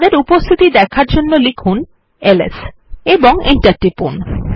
তাদের উপস্থিতি দেখার জন্য লিখুন এলএস এবং এন্টার টিপুন